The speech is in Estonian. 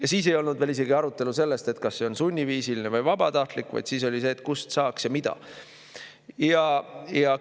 Ja siis ei olnud veel isegi arutelu sellest, kas see on sunniviisiline või vabatahtlik, vaid siis oli, kust saaks ja mida.